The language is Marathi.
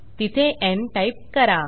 तिथे न् टाईप करा